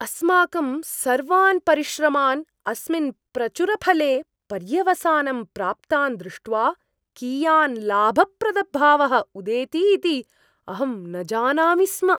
अस्माकं सर्वान् परिश्रमान् अस्मिन् प्रचुरफले पर्यवसानं प्राप्तान् दृष्ट्वा कियान् लाभप्रदभावः उदेति इति अहं न जानामि स्म।